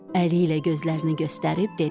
Əli ilə gözlərini göstərib dedi: